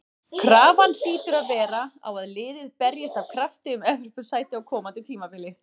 Krafan hlýtur að vera á að liðið berjist af krafti um Evrópusæti á komandi tímabili.